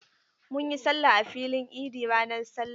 Mun yi sallah a filin idi ranar sallah.